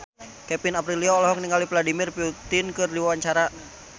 Kevin Aprilio olohok ningali Vladimir Putin keur diwawancara